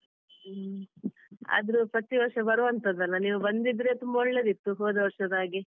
ಹ್ಮ ಆದ್ರೂ ಪ್ರತಿವರ್ಷ ಬರುವಂತದ್ದಲ್ಲ ನೀವು ಬಂದಿದ್ರೆ ತುಂಬ ಒಳ್ಳೇದಿತ್ತು ಹೋದ ವರ್ಷದ ಹಾಗೆ.